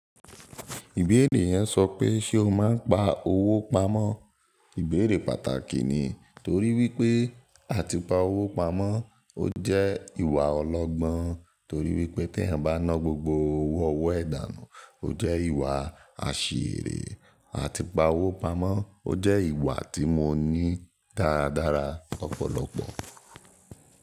Ìbéèrè yẹn sọ pé ṣe o máa ń pa owó pamọ́, ìbéèrè pàtàkì ni torí wípé à ti pa owó pamọ́, ó jẹ́ ìwà ọlọ́gbọ́n torí wípé t'èèyàn bá ná gbogbo owó ọwọ́ ẹ dànù, ó jẹ́ ìwà àṣìírè àti pa owó pamọ́ ó jẹ́ ìwà tí mo ní dáradára lọ́pọ̀lọpọ̀.